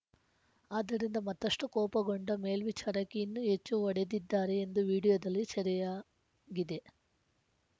ಅದರಿಂದ ಮತ್ತಷ್ಟುಕೋಪಗೊಂಡ ಮೇಲ್ವಿಚಾರಕಿ ಇನ್ನೂ ಹೆಚ್ಚು ಹೊಡೆದಿದ್ದಾರೆ ಇದು ವಿಡಿಯೋದಲ್ಲಿ ಸೆರೆಯಾ ಗಿದೆ